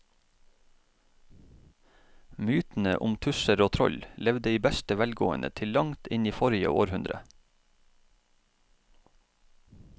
Mytene om tusser og troll levde i beste velgående til langt inn i forrige århundre.